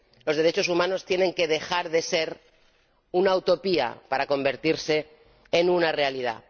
Los derechos humanos tienen que dejar de ser una utopía, para convertirse en una realidad.